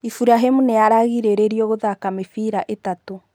Iburahĩmũ nĩaragiririo gũthaka mĩbĩra ĩtatũ